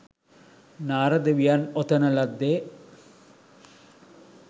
නාරද වියන් ඔතන ලද්දේ